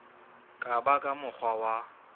ka ba ka mokgwa wa